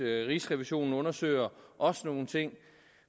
rigsrevisionen undersøger også nogle ting